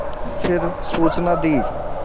फिर सूचना दी